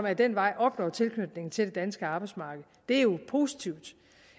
ad den vej opnår tilknytning til det danske arbejdsmarked det er jo positivt